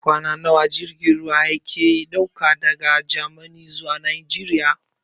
Kwana nawa jirgin ruwa yake ɗauka daga Gamani zuwa Najeriya?